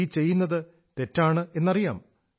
ഈ ചെയ്യുന്നത് തെറ്റാണെന്നറിയാം